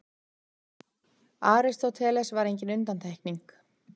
Aristóteles var engin undantekning.